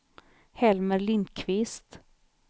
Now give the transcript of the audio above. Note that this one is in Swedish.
Helmer Lindqvist